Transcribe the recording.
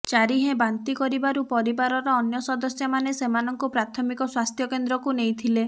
ଚାରିହେଁ ବାନ୍ତି କରିବାରୁ ପରିବାରର ଅନ୍ୟ ସଦସ୍ୟମାନେ ସେମାନଙ୍କୁ ପ୍ରାଥମିକ ସ୍ୱାସ୍ଥ୍ୟ କେନ୍ଦ୍ରକୁ ନେଇଥିଲେ